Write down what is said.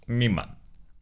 мимо